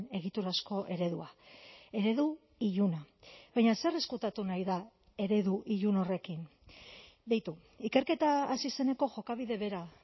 egiturazko eredua eredu iluna baina zer ezkutatu nahi da eredu ilun horrekin beitu ikerketa hasi zeneko jokabide bera